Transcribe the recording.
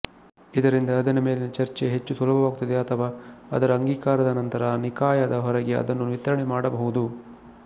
ಇದರಿಂದ ಅದರ ಮೇಲಿನ ಚರ್ಚೆ ಹೆಚ್ಚು ಸುಲಭವಾಗುತ್ತದೆ ಅಥವಾ ಅದರ ಅಂಗೀಕಾರದ ನಂತರ ನಿಕಾಯದ ಹೊರಗೆ ಅದನ್ನು ವಿತರಣೆ ಮಾಡಬಹುದು